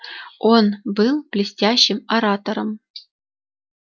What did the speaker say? он был блестящим оратором